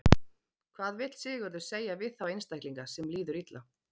Hvað vill Sigurður segja við þá einstaklinga sem líður illa?